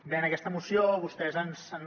bé en aquesta moció vostès ens han